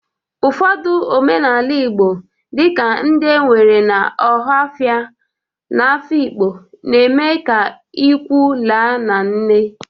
Ụfọdụ omenala Igbo dị ka ndị e nwere na ọhafịa na Afikpo, na-eme ịkwụ la na nne.